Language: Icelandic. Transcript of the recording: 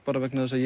vegna þess að